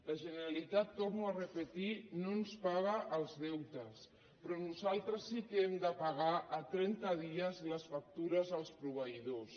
la generalitat ho torno a repetir no ens paga els deutes però nosaltres sí que hem de pagar a trenta dies les factures als proveïdors